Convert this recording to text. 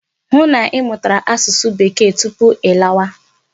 Hụ na ị mụtara asụsụ Bekee tupu ị lawa!